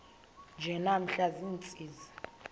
nje namhla ziintsizi